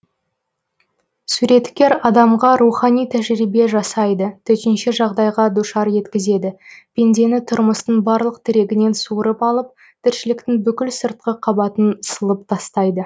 суреткер адамға рухани тәжірибе жасайды төтенше жағдайға душар еткізеді пендені тұрмыстың барлық тірегінен суырып алып тіршіліктің бүкіл сыртқы қабатын сылып тастайды